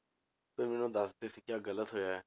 ਫਿਰ ਮੈਨੂੰ ਦੱਸਦੇ ਸੀ ਕਿ ਆਹ ਗ਼ਲਤ ਹੋਇਆ ਹੈ